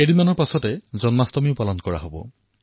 কিছুদিনৰ পিছতে জন্মাষ্টমীৰ উৎসৱ পালন কৰা হব